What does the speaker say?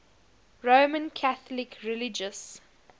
roman catholic religious